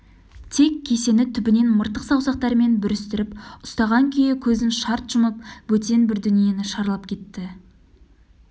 тек кесені түбінен мыртық саусақтарымен бүрістіріп ұстаған күйі көзін шарт жұмып бөтен бір дүниені шарлап кетті